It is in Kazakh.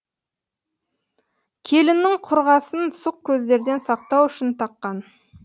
келіннің құрғасын сұқ көздерден сақтау үшін таққан